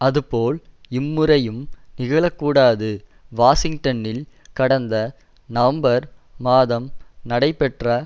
அது போல் இம்முறையும் நிகழக்கூடாது வாஷிங்டனில் கடந்த நவம்பர் மாதம் நடைபெற்ற